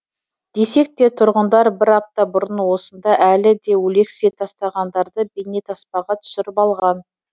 десек те тұрғындар бір апта бұрын осында әлі де өлексе тастағандарды бейнетаспаға түсіріп алған